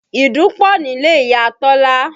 Ìdun pọ̀ nílé Ìyá Tọ́lá